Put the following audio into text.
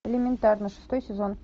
элементарно шестой сезон